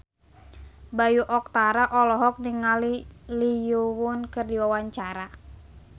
Bayu Octara olohok ningali Lee Yo Won keur diwawancara